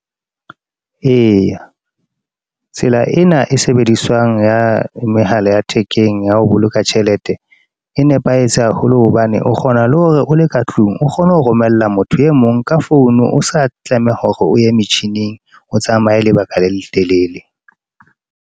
Eya, tsela ena e sebediswang ya mehala ya thekeng, ya ho boloka tjhelete. E nepahetse haholo, hobane o kgona le hore o le ka tlung, o kgone ho romella motho e mong ka phone. O sa tlameha hore o ye metjhining, o tsamaye lebaka le letelele.